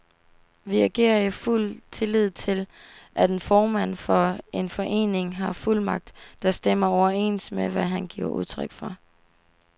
Vi agerede i fuld tillid til, at en formand for en forening har fuldmagt, der stemmer overens med, hvad han giver udtryk for.